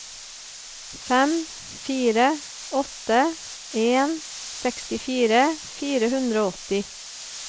fem fire åtte en sekstifire fire hundre og åtti